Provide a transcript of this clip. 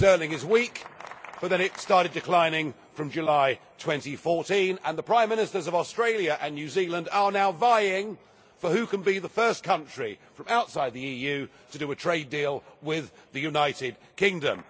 Sterling is weak, but then it started declining from July 2014, and the Prime Ministers of Australia and New Zealand are now vying for who can be the first country from outside the EU to do a trade deal with the United Kingdom.